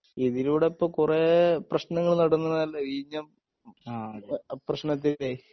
ഇതിലൂടെ ഇപ്പൊ കുറെ പ്രശ്നങ്ങൾ തന്നതല്ലേ വിഴിഞ്ഞം പ്രശ്നത്തിലെ